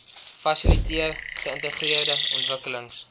fasiliteer geïntegreerde ontwikkelings